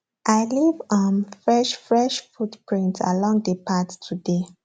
i leave um fresh fresh footprints along the path today